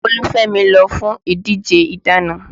Olúfemi lọ fún ìdíje ìdáná